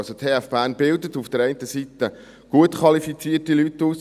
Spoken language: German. – Die TF Bern bildet auf der einen Seite gut qualifizierte Leute aus.